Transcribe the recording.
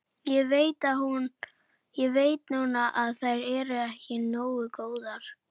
Ég veit núna að þær eru ekki nógu góðar.